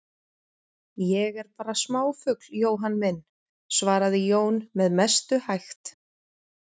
Ég er bara smáfugl, Jóhann minn, svaraði Jón með mestu hægt.